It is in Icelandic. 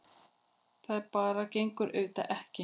Það bara gengur auðvitað ekki.